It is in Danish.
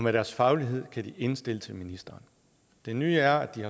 af deres faglighed kan de indstille til ministeren det nye er at de